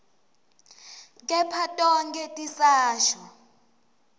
kepha tonkhe tisasho